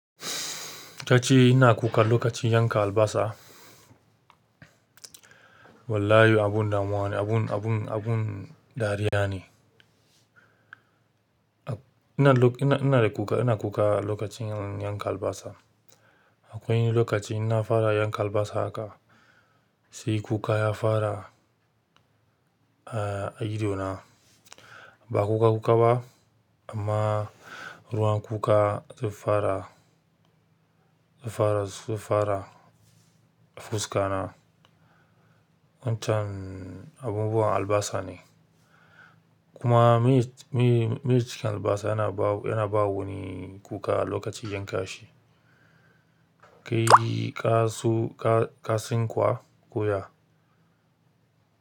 Ta ce ina kuka lokacin yanka albasa. Wallahi abun damuwa ne, abun, abun, abun dariya ne. Ina, ina da kuka, ina kuka lokacin yanka albasa. Akwai lokaci in na fara yanka albasa sai kuka ya fara a ido na ba kuka-kuka ba amma ruwan kuka zai fara, zai fara, zai fara a fuska na. Wancan abubuwan albasa ne. Kuma miyar, miyar cikin albasa yana bawo, yana bawo ni kuka lokacin yanka shi. Kai ka su ka ka sinkwa kuwa?